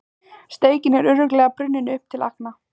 Steikin er örugglega brunnin upp til agna.